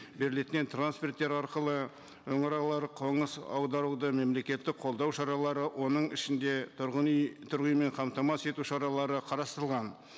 трансферттер арқылы қоныс аударуды мемлекеттік қолдау шаралары оның ішінде тұрғын үй тұрғын үймен қамтамасыз ету шаралары қарастырылған